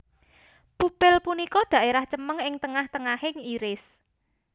Pupil punika daerah cemeng ing tengah tengahing iris